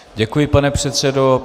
Děkuji, pane předsedo.